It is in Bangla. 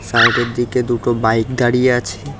সাইড -এর দিকে দুটো বাইক দাঁড়িয়ে আছে।